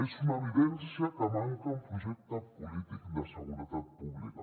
és una evidència que manca un projecte polític de seguretat pública